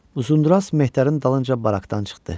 Uzundraz Mehdarın dalınca barakdan çıxdı.